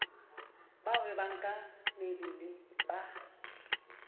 ba hwebang ka mebele ba